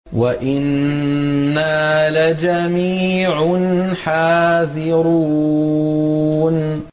وَإِنَّا لَجَمِيعٌ حَاذِرُونَ